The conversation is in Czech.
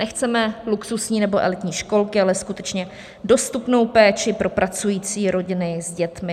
Nechceme luxusní nebo elitní školky, ale skutečně dostupnou péči pro pracující rodiny s dětmi.